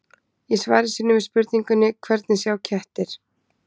Í svari sínu við spurningunni Hvernig sjá kettir?